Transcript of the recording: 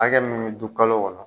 Hakɛ mun be dun kalo kɔnɔ